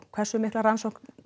hversu mikla rannsókn